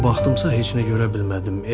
Nə qədər baxdımsa heç nə görə bilmədim.